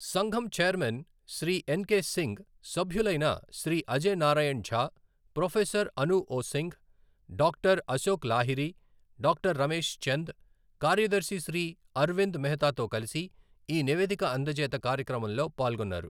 సంఘం chairman Shri N K Singh సభ్యులైన Shri Ajay Narayan Jha, professor Anup Singh, doctor Ashok Lahiri, doctor Ramesh Chand, కార్యదర్శి శ్రీ అర్వింద్ మెహతాతో కలిసి ఈ నివేదిక అందజేత కార్యక్రమంలో పాల్గొన్నారు.